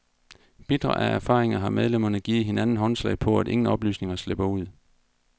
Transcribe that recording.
Bitre af erfaringer har medlemmerne givet hinanden håndslag på, at ingen oplysninger slipper ud.